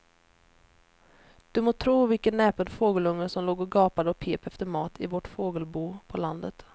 Du må tro vilken näpen fågelunge som låg och gapade och pep efter mat i vårt fågelbo på landet.